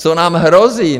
Co nám hrozí.